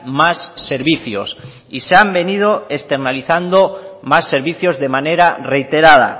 más servicios y se han venido externalizando más servicios de manera reiterada